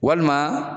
Walima